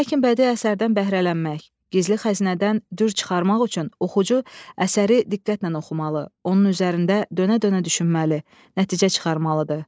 Lakin bədii əsərdən bəhrələnmək, gizli xəzinədən dürr çıxarmaq üçün oxucu əsəri diqqətlə oxumalı, onun üzərində dönə-dönə düşünməli, nəticə çıxarmalıdır.